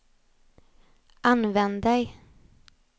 använder